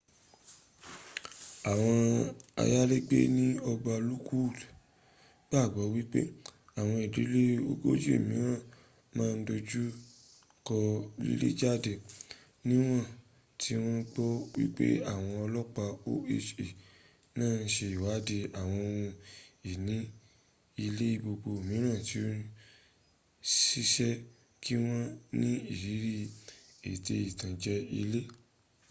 àwọn ayalégbé ní ọgbà lockwood gbàgbọ wípé àwọn ìdílé ogójì míràn ma dojuko lilejade níwọ̀n tí wọn gbọ wípé àwọn ọlọpa oha naa ń sẹ iwádìí àwọn ohùn ìní ilé gbogbo míràn tí o seese kí wọn ni irírí ètẹ ìtànje ilé